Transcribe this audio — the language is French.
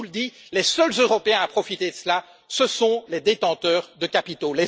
Je vous le dis, les seuls Européens à profiter de cela, ce sont les détenteurs de capitaux.